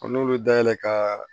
n'olu dayɛlɛ kaaa